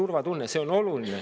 See kõik on oluline.